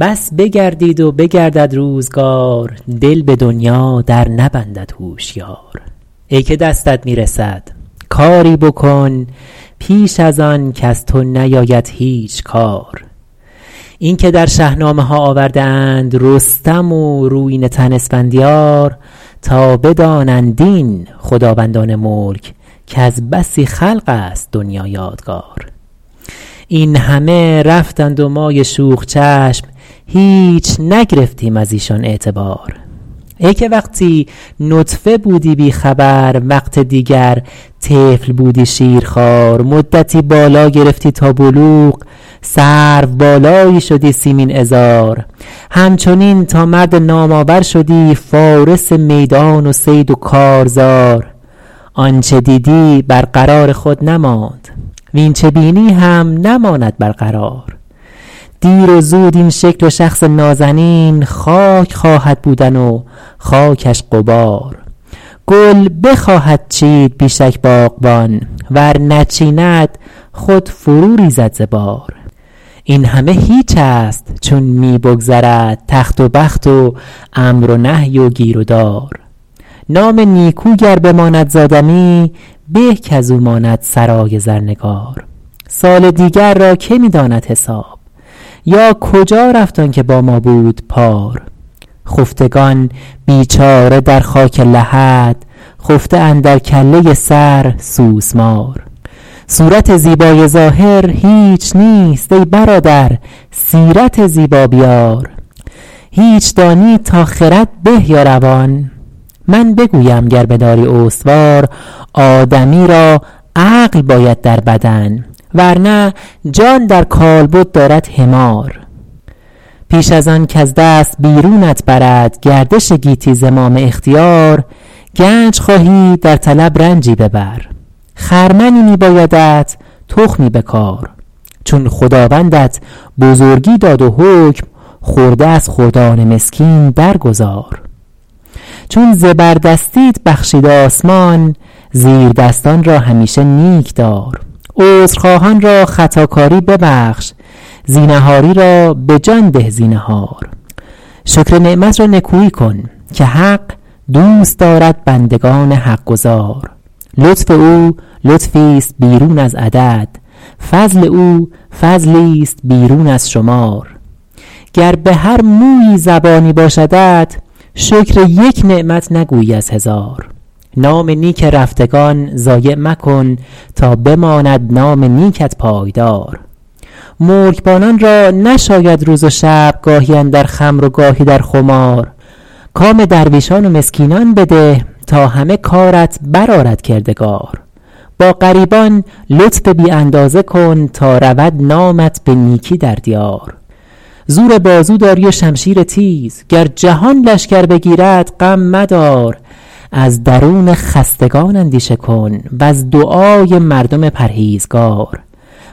بس بگردید و بگردد روزگار دل به دنیا در نبندد هوشیار ای که دستت می رسد کاری بکن پیش از آن کز تو نیاید هیچ کار اینکه در شهنامه ها آورده اند رستم و رویینه تن اسفندیار تا بدانند این خداوندان ملک کز بسی خلق است دنیا یادگار این همه رفتند و مای شوخ چشم هیچ نگرفتیم از ایشان اعتبار ای که وقتی نطفه بودی بی خبر وقت دیگر طفل بودی شیرخوار مدتی بالا گرفتی تا بلوغ سرو بالایی شدی سیمین عذار همچنین تا مرد نام آور شدی فارس میدان و صید و کارزار آنچه دیدی بر قرار خود نماند واین چه بینی هم نماند بر قرار دیر و زود این شکل و شخص نازنین خاک خواهد بودن و خاکش غبار گل بخواهد چید بی شک باغبان ور نچیند خود فرو ریزد ز بار این همه هیچ است چون می بگذرد تخت و بخت و امر و نهی و گیر و دار نام نیکو گر بماند زآدمی به کاز او ماند سرای زرنگار سال دیگر را که می داند حساب یا کجا رفت آن که با ما بود پار خفتگان بیچاره در خاک لحد خفته اندر کله سر سوسمار صورت زیبای ظاهر هیچ نیست ای برادر سیرت زیبا بیار هیچ دانی تا خرد به یا روان من بگویم گر بداری استوار آدمی را عقل باید در بدن ور نه جان در کالبد دارد حمار پیش از آن کز دست بیرونت برد گردش گیتی زمام اختیار گنج خواهی در طلب رنجی ببر خرمنی می بایدت تخمی بکار چون خداوندت بزرگی داد و حکم خرده از خردان مسکین در گذار چون زبردستیت بخشید آسمان زیردستان را همیشه نیک دار عذرخواهان را خطاکاری ببخش زینهاری را به جان ده زینهار شکر نعمت را نکویی کن که حق دوست دارد بندگان حقگزار لطف او لطفیست بیرون از عدد فضل او فضلیست بیرون از شمار گر به هر مویی زبانی باشدت شکر یک نعمت نگویی از هزار نام نیک رفتگان ضایع مکن تا بماند نام نیکت پایدار ملکبانان را نشاید روز و شب گاهی اندر خمر و گاهی در خمار کام درویشان و مسکینان بده تا همه کارت بر آرد کردگار با غریبان لطف بی اندازه کن تا رود نامت به نیکی در دیار زور بازو داری و شمشیر تیز گر جهان لشکر بگیرد غم مدار از درون خستگان اندیشه کن وز دعای مردم پرهیزگار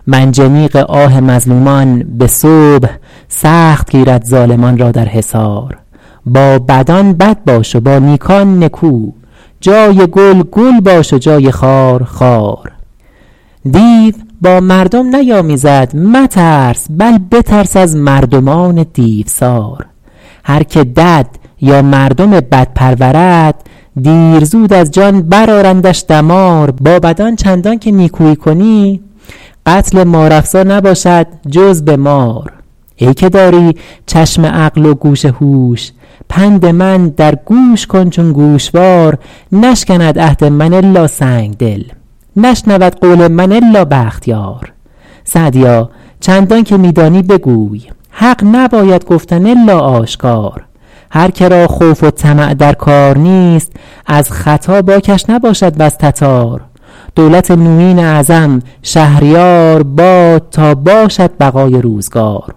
منجنیق آه مظلومان به صبح سخت گیرد ظالمان را در حصار با بدان بد باش و با نیکان نکو جای گل گل باش و جای خار خار دیو با مردم نیامیزد مترس بل بترس از مردمان دیوسار هر که دد یا مردم بد پرورد دیر زود از جان بر آرندش دمار با بدان چندان که نیکویی کنی قتل مار افسا نباشد جز به مار ای که داری چشم عقل و گوش هوش پند من در گوش کن چون گوشوار نشکند عهد من الا سنگدل نشنود قول من الا بختیار سعدیا چندان که می دانی بگوی حق نباید گفتن الا آشکار هر که را خوف و طمع در کار نیست از ختا باکش نباشد وز تتار دولت نویین اعظم شهریار باد تا باشد بقای روزگار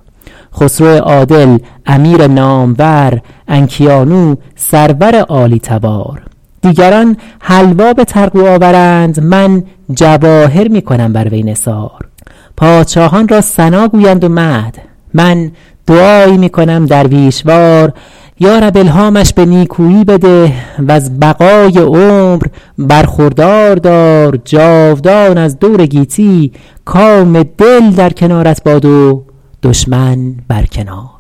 خسرو عادل امیر نامور انکیانو سرور عالی تبار دیگران حلوا به طرغو آورند من جواهر می کنم بر وی نثار پادشاهان را ثنا گویند و مدح من دعایی می کنم درویش وار یارب الهامش به نیکویی بده وز بقای عمر برخوردار دار جاودان از دور گیتی کام دل در کنارت باد و دشمن بر کنار